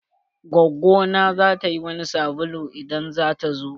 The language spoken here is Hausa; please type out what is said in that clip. Gwaggo na zata yi wani sabulu idan zata zo.